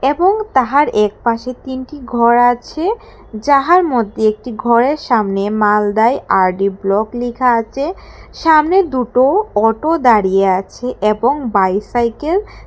এবং তাহার একপাশে তিনটি ঘর আছে যাহার মধ্যে একটি ঘরের সামনে মালদায় আর_ডি ব্লক লেখা আছে সামনে দুটো অটো দাঁড়িয়ে আছে এবং বাইসাইকেল --